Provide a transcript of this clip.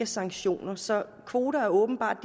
sanktioner så kvoter er åbenbart